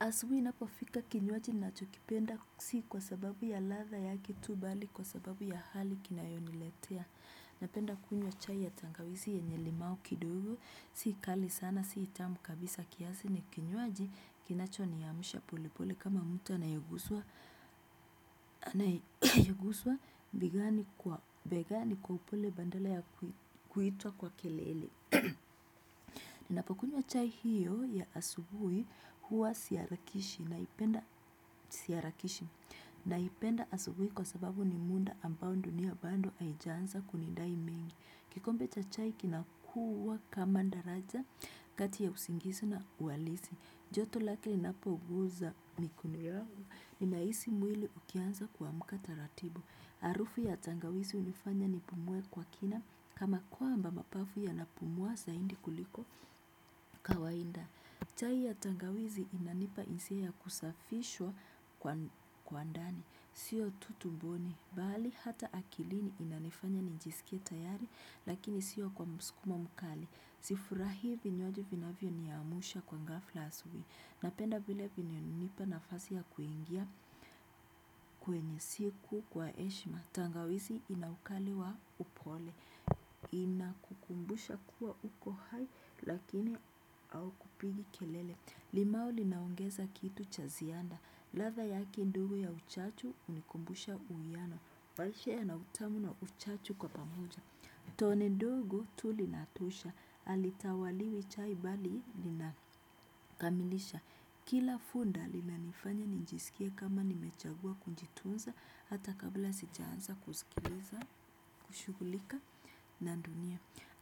Asubuhi inapofika kinywaji ninacho kipenda si kwa sababu ya ladha yake tu bali kwa sababu ya hali kinayo niletea. Napenda kunywa chai ya tangawizi yenye limau kidogo si kali sana si tamu kabisa kiasi ni kinywaji kinacho niamsha pole pole kama mtu anayeguswa naye guswa bei gani kwa upole badala ya kuitwa kwa kelele. Ninapokunywa chai hiyo ya asubuhi huwa si harakishi naipenda si harakishi. Naipenda asubuhi kwa sababu ni muda ambao dunia bado haija anza kunidai mengi. Kikombe cha chai kinakua kama daraja kati ya usingizi na uhalisi. Joto lake linapo guza mikono yao. Ninahisi mwili ukianza kuamka taratibu. Arufu ya tangawizi hunifanya nipumue kwa kina. Kama kwamba mapafu yanapumua zaidi kuliko kawaida. Chai ya tangawizi inanipa hisia ya kusafishwa kwa ndani. Sio tu tumbo bali hata akilini inanifanya nijisikie tayari lakini sio kwa msukumo mkali. Sifurahi vinywaji vinavyo niamusha kwa ngafla asubui. Napenda vile vina nipa nafasi ya kuingia kwenye siku kwa heshima. Tangawizi ina ukali wa upole. Ina kukumbusha kuwa uko hai lakini au kupiga kelele. Limau linaongeza kitu cha ziada. Ladha yake ndogo ya uchachu hunikumbusha uwiano maisha yana utamu na uchachu kwa pamoja. Tone ndogo tu linatoosha halitawaliwi chai bali linakamilisha. Kila funda lina nifanya nijisikie kama nimechagua kujitunza. Hata kabla sija anza kusikiliza, kushughulika na dunia.